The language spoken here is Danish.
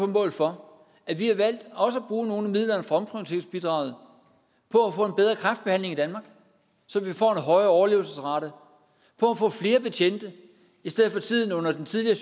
mål for at vi har valgt også at bruge nogle af midlerne fra omprioriteringsbidraget på at få en bedre kræftbehandling i danmark så vi får en højere overlevelsesrate på at få flere betjente i stedet for tiden under den tidligere